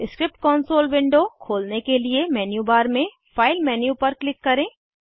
script console window खोलने के लिए मेन्यू बार में फाइल मेन्यू पर क्लिक करें